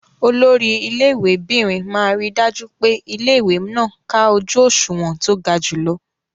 Olori ilé ìwé'bìnrin máa ríi dájú pé ilé-ìwé náà ká ojú òṣùwọ̀n tó ga jùlọ.